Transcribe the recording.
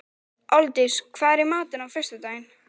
Aldís, hvað er í matinn á föstudaginn?